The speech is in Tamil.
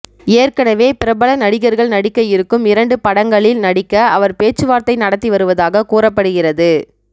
ஏற்கனவே பிரபல நடிகர்கள் நடிக்க இருக்கும் இரண்டு படங்களில் நடிக்க அவர் பேச்சுவார்த்தை நடத்தி வருவதாக கூறப்படுகிறது